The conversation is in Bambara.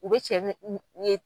U bɛ cɛ ye